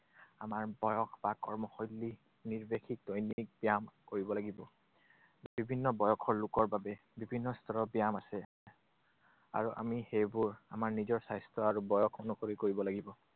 আমাৰ বয়স বা কৰ্মশৈলী নিৰ্দেশিত দৈনিক ব্যায়াম কৰিব লাগিব। বিভিন্ন বয়সৰ লোকৰ বাবে বিভিন্ন স্তৰৰ ব্যায়াম আছে। আৰু আমি সেইবোৰ আমাৰ নিজৰ স্বাস্থ্য আৰু বয়স অনুসৰি কৰিব লাগিব।